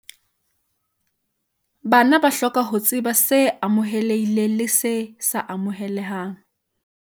Bana ba hloka ho tseba se amohelehileng le se sa amohelehang